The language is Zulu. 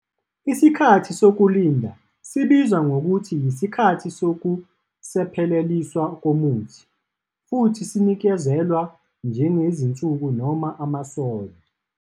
Isikhathi sokulinda sibizwa ngokuthi yisikhathi sokusepheleliswa komuthi, futhi sinikezelwa njengezinsuku noma amasono.